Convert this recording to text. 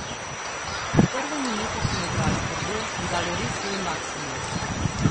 Od prve minute smo igrali trdo in dali res svoj maksimum.